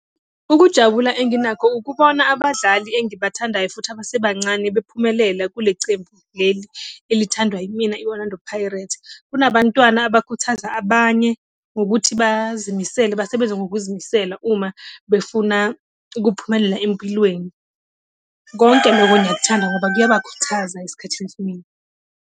Ukujabula enginakho ukubona abadlali engibathandayo futhi abasebancane bephumelela kule cembu leli elithandwa yimina, i-Orlando Pirates. Kunabantwana abakuthaza abanye ngokuthi bazimisele, basebenze ngokuzimisela uma befuna ukuphumelela empilweni. Konke loko ngiyakuthanda ngoba kuyabakhuthaza esikhathini esiningi.